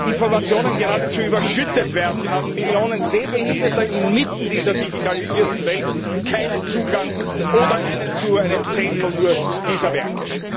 Informationen geradezu überschüttet werden, haben Millionen Sehbehinderte inmitten dieser digitalisierten Welt keinen Zugang oder nur zu einem Zehntel dieser Werke.